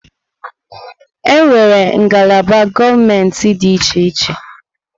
Enwere ngalaba gọọmentị dị iche iche.